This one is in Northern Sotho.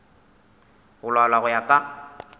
go laolwa go ya ka